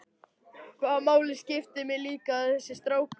Hvaða máli skiptir mig líka þessi strákur?